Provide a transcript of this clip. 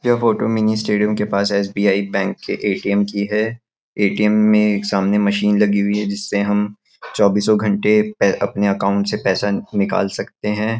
यह photo mini stadium के पास एस.बी.आई बैंक के ए.टी.एम की हैं ए.टी.एम में एक सामने मशीन लगी हुई हैं जिससे हम चौबीसो घंटे पै अपने अकाउंट से पैसा निकाल सकते हैं।